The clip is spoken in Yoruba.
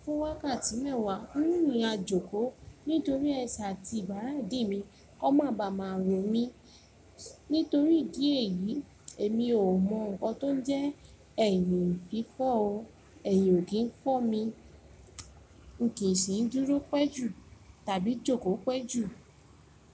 fún wákàtí mẹ́wàá, n mú mi ajoko. Nítorí ẹse àti ibàrá dì mi, ko ma ba máa ro mí. Nítorí ìdí èyí, èmi ò mọ nǹkan tó ń jẹ́ ẹ̀yìn fi fọ́ o. Ẹ̀yìn ò kí ń fọ́ mi. N kì í sì ń dúró pẹ́ jù tàbí jókòó pẹ́ jù.